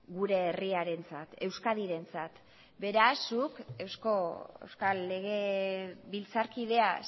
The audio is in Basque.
gure herriarentzat euskadirentzat beraz zuk euskal legebiltzarkidea